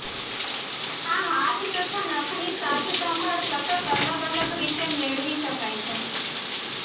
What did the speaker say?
આ હાથ તથા નખની સાજસંભાળ સતત અલગ અલગ રીતે મેળવી શકાય છે